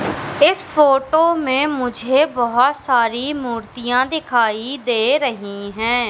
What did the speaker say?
इस फोटो में मुझे बहुत सारी मूर्तियां दिखाई दे रही हैं।